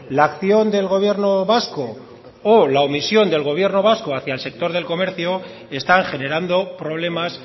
la acción del gobierno vasco o la omisión del gobierno vasco hacia el sector del comercio están generando problemas